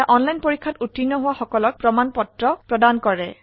online পৰীক্ষা pass কৰিলে প্ৰশংসাপত্ৰ দেওয়া হয়